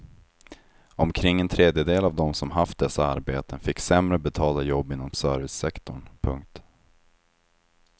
Omkring en tredjedel av dem som haft dessa arbeten fick sämre betalda jobb inom servicesektorn. punkt